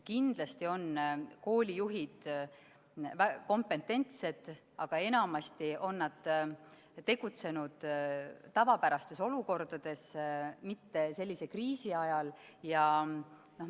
Kindlasti on koolijuhid kompetentsed, aga enamasti on nad tegutsenud tavapärastes olukordades, mitte sellise kriisi ajal.